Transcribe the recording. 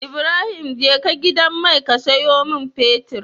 Ibrahim jeka gidan mai ka siyo mun fetir